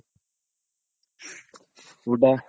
ಊಟ.